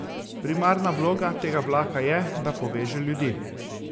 Primarna vloga tega vlaka je, da poveže ljudi!